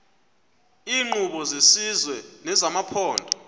iinkqubo zesizwe nezamaphondo